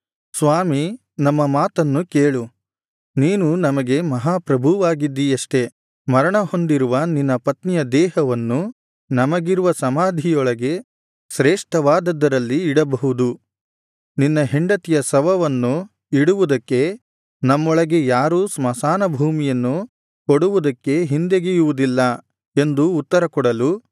ಸ್ವಾಮಿ ನಮ್ಮ ಮಾತನ್ನು ಕೇಳು ನೀನು ನಮಗೆ ಮಹಾ ಪ್ರಭುವಾಗಿದ್ದೀಯಷ್ಟೆ ಮರಣಹೊಂದಿರುವ ನಿನ್ನ ಪತ್ನಿಯ ದೇಹವನ್ನು ನಮಗಿರುವ ಸಮಾಧಿಯೊಳಗೆ ಶೇಷ್ಠವಾದದ್ದರಲ್ಲಿ ಇಡಬಹುದು ನಿನ್ನ ಹೆಂಡತಿಯ ಶವವನ್ನು ಇಡುವುದಕ್ಕೆ ನಮ್ಮೊಳಗೆ ಯಾರೂ ಸ್ಮಶಾನ ಭೂಮಿಯನ್ನು ಕೊಡುವುದಕ್ಕೆ ಹಿಂದೆಗೆಯುವುದಿಲ್ಲ ಎಂದು ಉತ್ತರ ಕೊಡಲು